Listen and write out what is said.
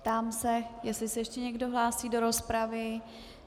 Ptám se, jestli se ještě někdo hlásí do rozpravy.